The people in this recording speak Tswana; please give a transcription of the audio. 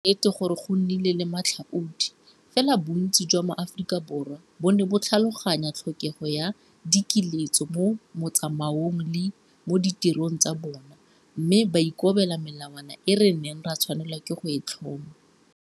Ke nnete gore go nnile le matlhaodi, fela bontsi jwa Maaforika Borwa bo ne bo tlhaloganya tlhokego ya dikiletso mo motsamaong le mo ditirong tsa bona, mme ba ikobela melawana e re neng ra tshwanelwa ke go e tlhoma.